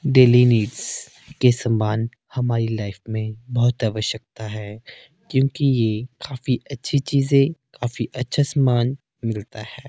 Daily needs के संबंध हमारी लाइफ मे बहोत आवश्यकता है क्योंकि ये काफी अच्छी चीजे काफी अच्छा सामान मिलता है।